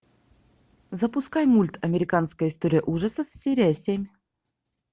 запускай мульт американская история ужасов серия семь